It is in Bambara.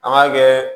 An b'a kɛ